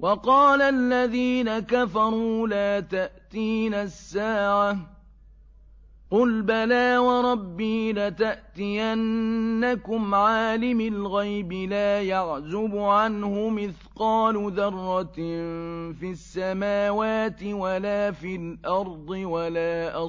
وَقَالَ الَّذِينَ كَفَرُوا لَا تَأْتِينَا السَّاعَةُ ۖ قُلْ بَلَىٰ وَرَبِّي لَتَأْتِيَنَّكُمْ عَالِمِ الْغَيْبِ ۖ لَا يَعْزُبُ عَنْهُ مِثْقَالُ ذَرَّةٍ فِي السَّمَاوَاتِ وَلَا فِي الْأَرْضِ وَلَا